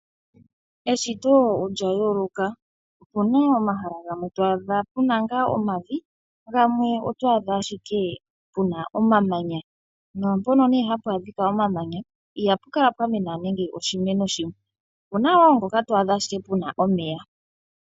Eshito olya yooloka. opuna omahala gamwe to adha puna ngaa omavi ,gamwe oto adha ashike puna omamanya naampono puna omamanya ito adhapo nande oshimeno shimwe. opuna woo ngoka to adha ashike puna omeya.